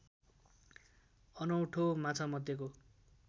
अनौठो माछामध्येको